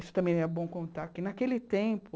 Isso também é bom contar, que naquele tempo...